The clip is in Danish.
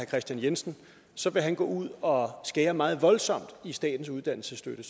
kristian jensen så vil han gå ud og skære meget voldsomt i statens uddannelsesstøtte